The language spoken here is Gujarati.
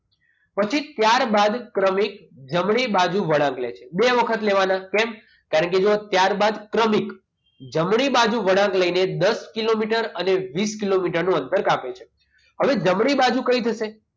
પછી ત્યારબાદ ક્રમિક જમણી બાજુ વળાંક લે છે બે વખત લેવાના કેમ કારણ કે અહીંયા ચાર બાદ ક્રમિક જમણી બાજુ વળાંક લઈને દસ કિલોમીટર અને વીસ કિલોમીટર નું અંતર કાપે છે હવે જમણી બાજુ કઈ થશે